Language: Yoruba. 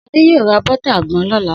Sadé yoo ra bótà àgbon lọ́la.